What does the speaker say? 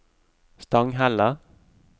Stanghelle